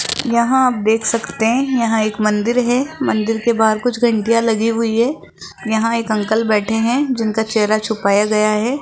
यहां आप देख सकते हैं यहां एक मंदिर है मंदिर के बाहर कुछ घंटियां लगी हुई हैं यहां एक अंकल बैठे हैं जिनका चेहरा छुपाया गया है।